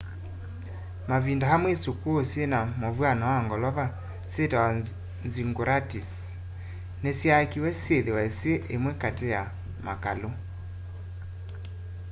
mavĩnda amwe ĩsũkũũ syĩna mũvwano wa ngolova syitawa zĩggũrats nĩsyakĩwe syĩthĩwe syĩ ĩmwe katĩ ya makalũ